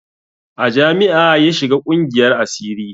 A jami'a ya shiga ƙungiyar asiri